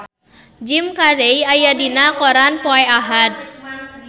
Jim Carey aya dina koran poe Ahad